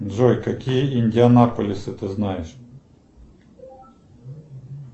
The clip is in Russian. джой какие индианаполисы ты знаешь